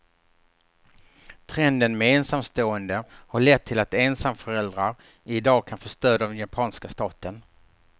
Trenden med ensamstående har lett till att ensamföräldrar i dag kan få stöd av den japanska staten.